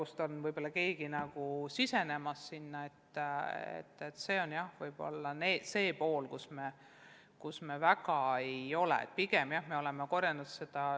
See võib-olla on valdkond, kus me veel väga paljut pole suutnud.